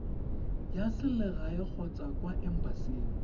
ya selegae kgotsa kwa embasing